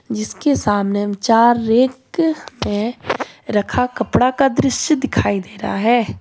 जिसके सामने चार रैंक है रखा कपड़ा का दृश्य दिखाई दे रहा है।